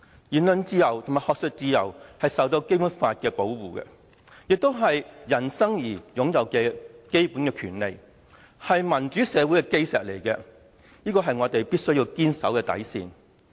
言論自由和學術自由受《基本法》保護，亦是人生而擁有的基本權利，是民主社會的基石，是我們必須堅守的底線。